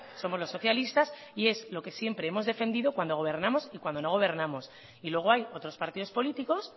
somos los socialistas y es lo que siempre hemos defendido cuando gobernamos y cuando no gobernamos y luego hay otros partidos políticos